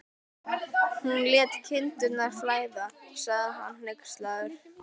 Hún lét kindurnar flæða, sagði hann hneykslaður.